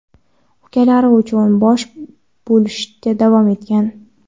ukalari uchun bosh bo‘lishda davom etgan.